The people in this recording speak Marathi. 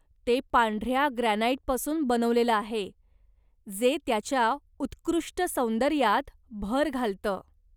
ते पांढर्या ग्रॅनाइटपासून बनवलेलं आहे जे त्याच्या उत्कृष्ट सौंदर्यात भर घालतं.